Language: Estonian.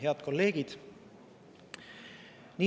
Head kolleegid!